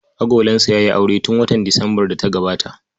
Agolansa ya yi aure tun watan Disambar da ta gabata.